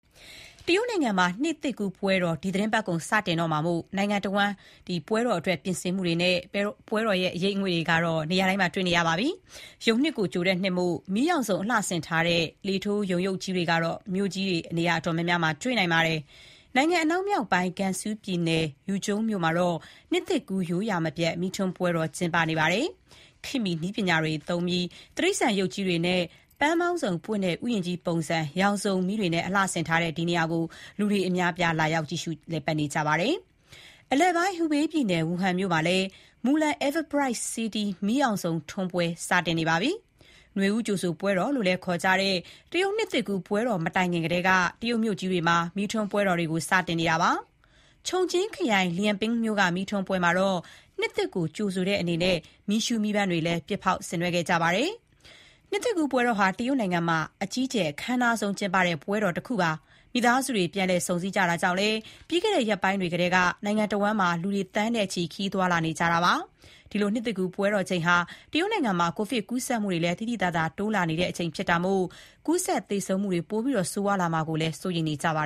တရုတ်နိုင်ငံမှာ နှစ်သစ်ကူးပွဲတော် ဒီသီတင်းပတ်ကုန် စတင်တော့မှာမို့ နိုင်ငံတဝန်း နှစ်သစ်ကူးပွဲတော် ပြင်ဆင်မှုတွေနဲ့ ပွဲတော် အရိပ်အငွေ့တွေ နေရာတိုင်းမှာ တွေ့နေရပါပြီ။ ယုန်နှစ်ကို ကြိုတဲ့နှစ်မို့ မီးရောင်စုံ အလှဆင်ထားတဲ့ လေထိုးယုန်ရုပ်ကြီးတွေကတော့ မြို့ကြီး နေရာအတော်များများမှာ တွေ့နိုင်ပါတယ်။ နိုင်ငံ အနောက်မြောက်ပိုင်း Gansu ပြည်နယ်၊ Yuzhong မြို့မှာတော့ နှစ်သစ်ကူး ရိုးရာမပြတ် မီးထွန်းပွဲတော် ကျင်းပနေပါပြီ ခေတ်မှီ နည်းပညာတွေပြီး တိရစ္ဆာန်ရုပ်ကြီးတွေနဲ့ ပန်းပေါင်းစုံပွင့်တဲ့ ဥယျာဉ်ကြီးပုံစံ ရောင်စုံမီးတွေနဲ့ အလှဆင်ထားတဲ့ ဒီနေရာကို လူတွေအများအပြား လာရောက် လည်ပတ်နေကြပါတယ်။ အလယ်ပိုင်း Hubei ပြည်နယ်၊ Wuhan မြု့မှာလည်း Mulan Everbright City မီးရောင်စုံထွန်းပွဲ စတင်နေပါပြီ။ နွေဦးကြိုဆိုပွဲတော် လို့လည်း ခေါ်ကြတဲ့ တရုတ် နှစ်သစ်ကူး ပွဲတော် မတိုင်ခင်ကတည်းက တရုတ်မြို့ကြီးတွေမှာ မီးထွန်းပွဲတော်တွေ စနေတာပါ။ Chongqing ခရိုင် Liangping မြို့က မီးထွန်းပွဲမှာတော့ နှစ်သစ်ကို ကြိုဆိုတဲ့အနေနဲ့ မီးရှူးမီးပန်းတွေလည်း ပစ်ဖောက် ဆင်နွှဲကြပါတယ်။ နှစ်သစ်ကူးပွဲတော်ဟာ တရုတ်နိုင်ငံမှာ အကြီးအကျယ် အခမ်းအနားဆုံး ပွဲတော်ဖြစ်ပါတယ်။ မိသားစုတွေ ပြန်လည် ဆုံဆည်းကြတာကြောင့်လည်း ပြီးခဲ့တဲ့ရက်ပိုင်းတွေကတည်းက နိုင်ငံတဝန်း လူတွေ သန်းနဲ့ချီ ခရီးသွားလာနေကြတာပါ။ နှစ်သစ်ကူးပွဲတော်ချိန်ဟာ တရုတ်နိုင်ငံမှာ ကိုဗစ်ကူးစက်မှုတွေ သိသိသာသာ တိုးလာနေချိန်ဖြစ်လို့ ကူးစက်သေဆုံးမှုတွေ ပိုပြီးဆိုးရွားလာမှာကိုလည်း စိုးရိမ်နေကြပါ